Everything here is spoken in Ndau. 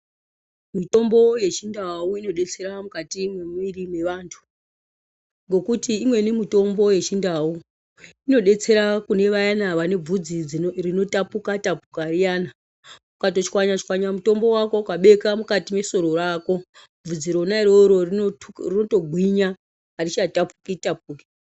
Mitombo yechindau inodetsera mukati mwemwiri yevantu, ngekuti imweni mitombo yechindau inodetsera kune vayana vane bvudzi rinotapuka tapuka riyana ukatotshwanya tshwanya mutombo wako ukabeka mukati mwesoro rako bvudzi rona iroro rotogwinya arichatapuki tapuki.